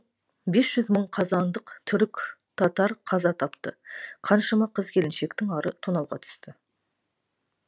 бес жүз мың қазандық түрік татар қаза тапты қаншама қыз келіншектің ары тонауға түсті